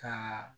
Ka